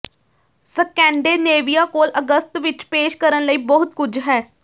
Scandinavia ਕੋਲ ਅਗਸਤ ਵਿੱਚ ਪੇਸ਼ ਕਰਨ ਲਈ ਬਹੁਤ ਕੁਝ ਹੈ